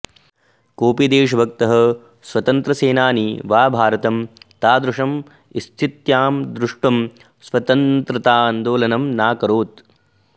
कोऽपि देशभक्तः स्वतन्त्रसेनानी वा भारतं तादृश्यां स्थित्यां द्रष्टुं स्वतन्त्रतान्दोलनं नाकरोत्